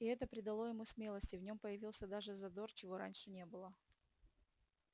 и это придало ему смелости в нём появился даже задор чего раньше не было